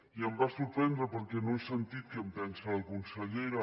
i em va sorprendre perquè no he sentit què en pensa la consellera